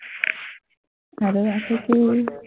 আৰু আছে কি